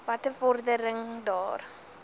watter vordering daar